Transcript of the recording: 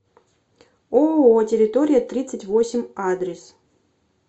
ооо территория тридцать восемь адрес